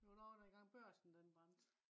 jeg var derovre dengang Børsen den brændte